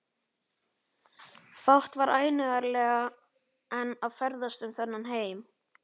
Fátt var ánægjulegra en að ferðast um þennan heim.